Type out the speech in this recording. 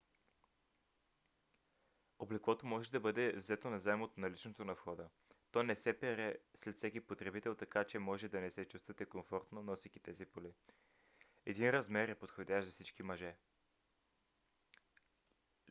облеклото може да бъде взето назаем от наличното на входа но то не се пере след всеки потребител така че може да не се чувствате комфортно носейки тези поли. един размер е подходящ за всички мъже!